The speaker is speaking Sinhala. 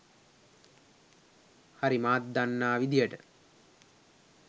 හරි මාත් දන්නා විදිහට.